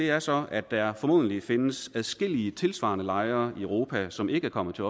er så at der formodentlig findes adskillige tilsvarende lejre i europa som ikke er kommet til